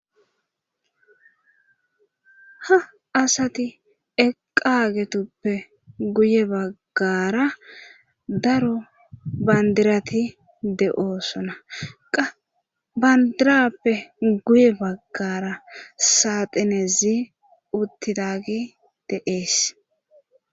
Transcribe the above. ha asati eqagetuppe guye baggara daro bandirati de7oosona qbandirappe guye baggara saaxinezi uttidagi deees